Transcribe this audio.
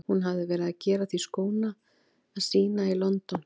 Hún hafði verið að gera því skóna að sýna í London.